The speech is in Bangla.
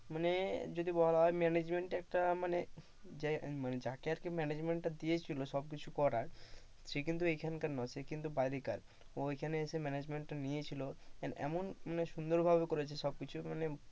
মানে যদি বলা হয় management একটা মানে যাকে আর কি management দিয়েছিল সবকিছু করার, সে কিন্তু এখানকার নয়। সে কিন্তু বাইরে কার ও এখানকার নিয়েছিল and এমন সুন্দরভাবে করেছে সবকিছু।